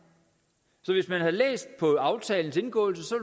så hvis man havde læst på aftalens indgåelse